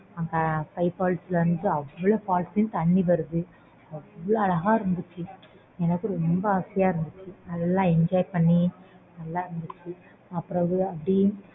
அவ்ளோ அழகா இருந்துச்சு எனக்கு ரொம்ப ஆசையா இருந்துச்சு நல்ல enjoy பண்ணி நல்ல இருந்துச்சு